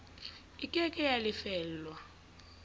e ke ke ya lefellwa